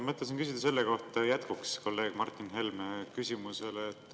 Mõtlesin küsida jätkuks kolleeg Martin Helme küsimusele.